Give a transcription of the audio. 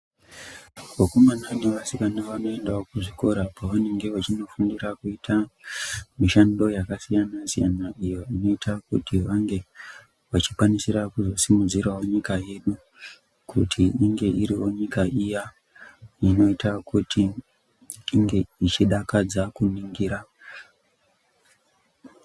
Vakomana nevasikana vanoendawo kuzvikora kwavanenge vachifundira kuita mishando yakasiyana siyana. Iyo inoita kuti vange vachikwanisira kusimudzira nyika yedu kuti inge iriwo nyika iyaa inoita kuti inge ichidakadza kuningira.